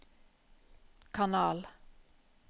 kanal